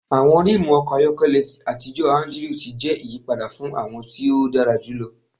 Awọn rimu ọkọ ayọkẹlẹ atijọ Andrew ti jẹ iyipada fun awọn ti o dara julọ